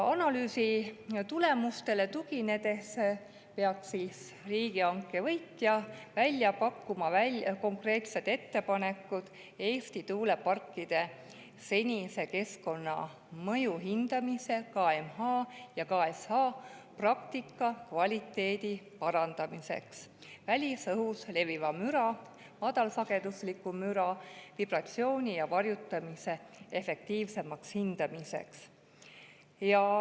Analüüsi tulemustele tuginedes peab riigihanke võitja välja pakkuma konkreetsed ettepanekud Eesti tuuleparkide senise keskkonnamõju hindamise praktika kvaliteedi parandamiseks, välisõhus leviva müra, madalsagedusliku müra, vibratsiooni ja varjutamise efektiivsemaks hindamiseks.